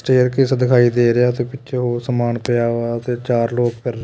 staircase ਦਿਖਾਈ ਦੇ ਰਿਹਾ ਤੇ ਪਿੱਛੇ ਸਮਾਨ ਪਿਆ ਵਾ ਤੇ ਚਾਰ ਲੋਕ ਫਿਰ --